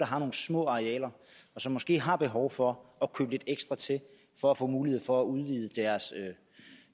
har nogle små arealer og som måske har behov for at købe lidt ekstra til for at få mulighed for at udvide